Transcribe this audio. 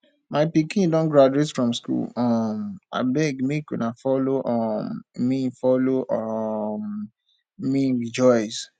my pikin don graduate from school um abeg make una follow um me follow um me rejoice